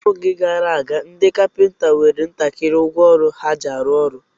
N'oge gara aga, ndị kapịnta nwere ntakịrị ngwa ọrụ ha ji arụ ọrụ.